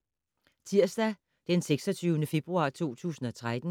Tirsdag d. 26. februar 2013